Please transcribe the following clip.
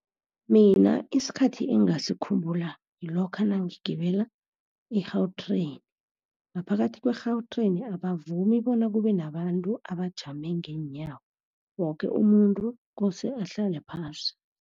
Mina isikhathi engingasikhumbula ngilokha nangigibela i-Gautrain. Ngaphakathi kwe-Gautrain abavumi bona kube nabantu abajama ngeenyawo. Woke umuntu kose ahlale phasi.